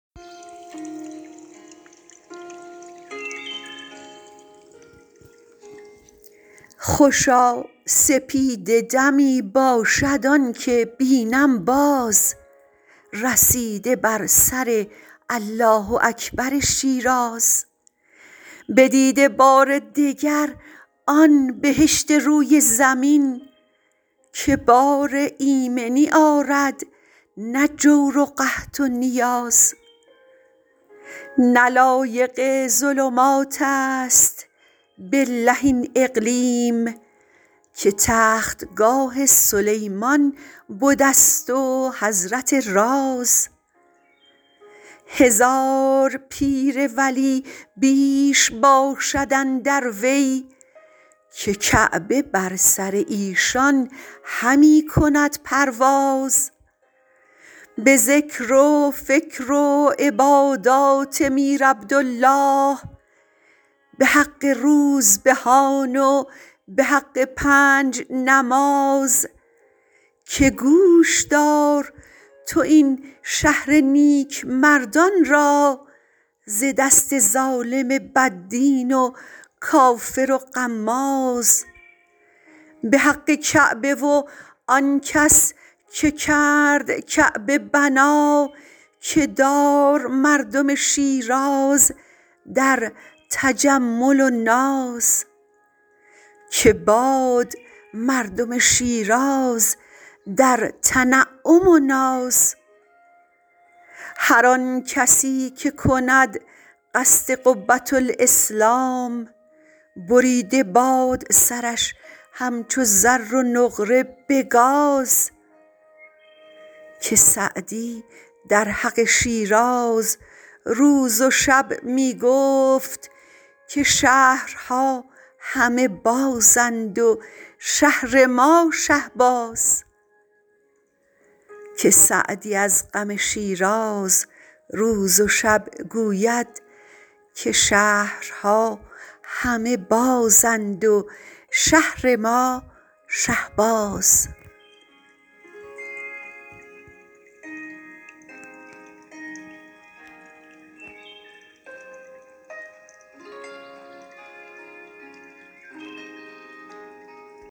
خوشا سپیده دمی باشد آنکه بینم باز رسیده بر سر الله اکبر شیراز بدیده بار دگر آن بهشت روی زمین که بار ایمنی آرد نه جور قحط و نیاز نه لایق ظلماتست بالله این اقلیم که تختگاه سلیمان بدست و حضرت راز هزار پیر و ولی بیش باشد اندر وی که کعبه بر سر ایشان همی کند پرواز به ذکر و فکر و عبادت به روح شیخ کبیر به حق روزبهان و به حق پنج نماز که گوش دار تو این شهر نیکمردان را ز دست ظالم بد دین و کافر غماز به حق کعبه و آن کس که کرد کعبه بنا که دار مردم شیراز در تجمل و ناز هر آن کسی که کند قصد قبةالاسلام بریده باد سرش همچو زر و نقره به گاز که سعدی از حق شیراز روز و شب می گفت که شهرها همه بازند و شهر ما شهباز